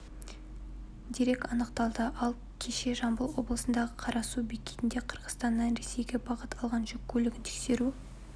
дерек анықталды ал кеше жамбыл облысындағы қарасу бекетінде қырғызстаннан ресейге бағыт алған жүк көлігін тексеру